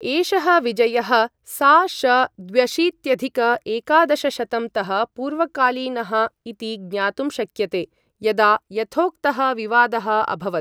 एषः विजयः सा.श द्व्यशीत्यधिक एकादशशतं तः पूर्वकालीनः इति ज्ञातुं शक्यते, यदा यथोक्तः विवादः अभवत्।